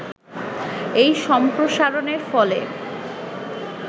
এই সম্প্রসারণের ফলে